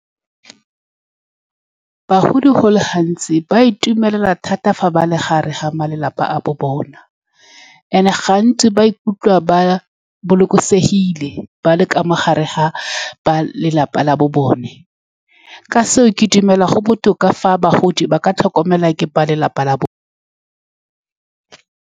Bagodi, go le gantsi, ba itumela thata fa ba le gare ga malapa a bo bona, and-e gantsi ba ikutlwa ba bolokesegile ba le ka mogare ga ba lelapa la bo bone. Ka seo, ke dumela go botoka fa bagodi ba ka tlhokomelwa ke ba lelapa la bone.